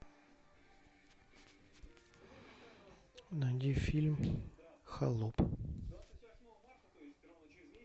найди фильм холоп